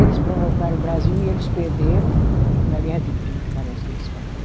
Eles provocaram o Brasil e eles perderam, na guerra de trinta parece que eles fala né?